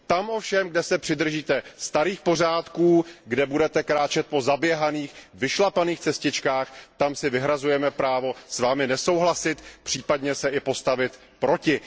Tam ovšem, kde se přidržíte starých pořádků, kde budete kráčet po zaběhaných, vyšlapaných cestičkách, tam si vyhrazujeme právo s Vámi nesouhlasit, případně se i postavit proti.